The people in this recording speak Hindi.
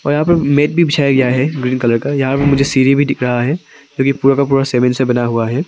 और यहां पर मैट भी गया है ग्रीन कलर का यहां पे मुझे सीढ़ी भी दिख रहा है जो कि पूरा का पूरा सीमेंट से बना हुआ है।